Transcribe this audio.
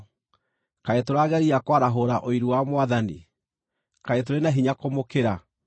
Kaĩ tũrageria kwarahũra ũiru wa Mwathani? Kaĩ tũrĩ na hinya kũmũkĩra?